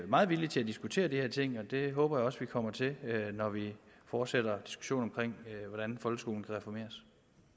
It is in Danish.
meget villig til at diskutere de her ting og det håber jeg også vi kommer til når vi fortsætter diskussionen omkring hvordan folkeskolen kan reformeres